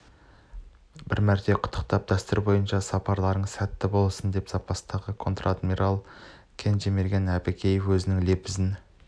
бір мәрте құттықтап дәстүр бойынша сапарларыңыз сәтті болсын деп запастағы контр-адмирал кенжемерген әбікеев өзінің лебізін